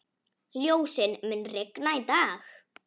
Ljósunn, mun rigna í dag?